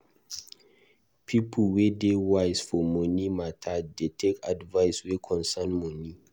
People wey dey wise for moni mata dey take advice wey concern moni.